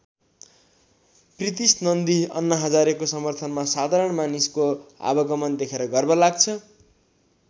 प्रीतिश नन्दी अन्ना हजारेको समर्थनमा साधारण मानिसको आवागमन देखेर गर्व लाग्छ।